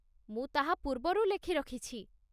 ମୁଁ ତାହା ପୂର୍ବରୁ ଲେଖିରଖିଛି